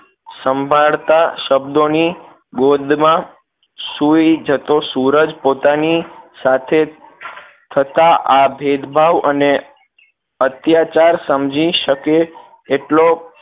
સંભાળતા શબ્દો ની ગોદ માં સૂઈ જતો સૂરજ પોતાની સાથે થતાં આ ભેદભાવ અને અત્યાચાર સમજી શકે એટલો